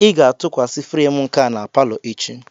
Ị ga-atụkwasị frem nka na palo echi.